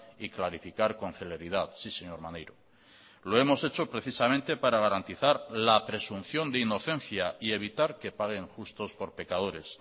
y clarificar con celeridad sí señor maneiro lo hemos hecho precisamente para garantizar la presunción de inocencia y evitar que paguen justos por pecadores